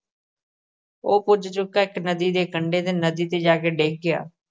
ਉਹ ਪੁੱਜ ਚੁੱਕਾ ਇੱਕ ਨਦੀ ਦੇ ਕੰਢੇ ਤੇ ਨਦੀ ਤੇ ਜਾ ਕੇ ਡਿੱਗ ਗਿਆ।